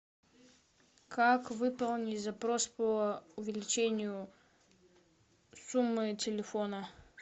как выполнить запрос по увеличению суммы телефона